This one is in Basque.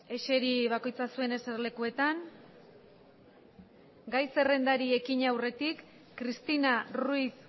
eseri bakoitza zuen eserlekuetan eseri gai zerrendari ekin aurretik cristina ruiz